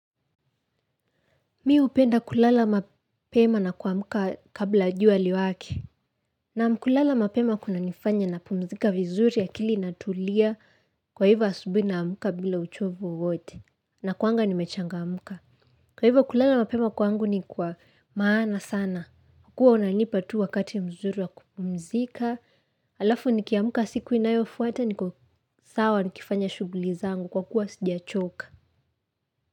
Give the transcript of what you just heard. Mimi hupenda kulala mapema na kuamka kabla jua liwake. Naam, kulala mapema kunanifanya napumzika vizuri akili inatulia kwa hivyo asubuhi naamka bila uchovu wowote. Nakuanga nimechangamka. Kwa hivyo kulala mapema kwangu ni kwa maana sana. Kuwa unanipa tu wakati mzuri wa kupumzika. Alafu nikiamka siku inayofuata niko sawa nikifanya shuguli zangu kwa kuwa sijachoka.